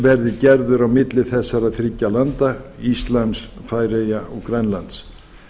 verði gerður á milli þessar þriggja landa íslands færeyja og grænlands